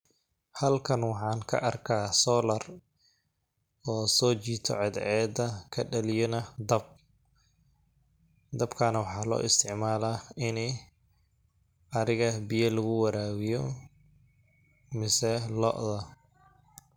Halkan waxaan ka arkaa solar oo soo jiito cadceeda ka dhaliyana dab ,dabkaana waxaa loo isticmalaa ini ariga biya lagu waraabiyo mase looda.